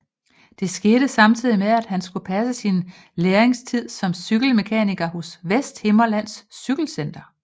Det skete samtidig med at han skulle passe sin lærlingetid som cykelmekaniker hos Vesthimmerlands Cykelcenter